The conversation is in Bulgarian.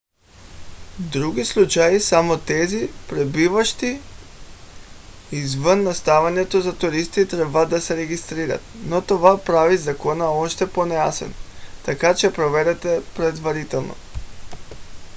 в други случаи само тези пребиваващи извън настаняването за туристи трябва да се регистрират. но това прави закона още по-неясен така че проверете предварително